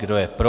Kdo je pro?